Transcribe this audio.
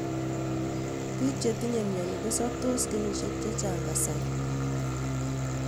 Piik chetinye myoni kosoptoos kenyishek chechang kasari